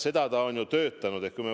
Seda ta on ju teinud.